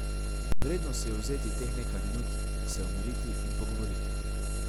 Vredno si je vzeti teh nekaj minut, se umiriti in pogovoriti.